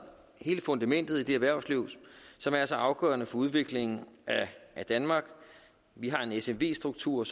hele fundamentet i det erhvervsliv som er så afgørende for udviklingen af danmark vi har en smv struktur